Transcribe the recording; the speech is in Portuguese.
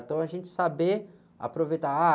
Então a gente saber aproveitar, ah...